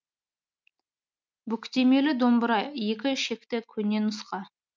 бүктемелі домбыра екі шекті көне нұсқа